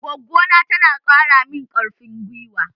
Goggona tana ƙara mun ƙarfin gwiwa